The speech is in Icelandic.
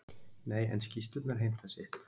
Nei, en skýrslurnar heimta sitt.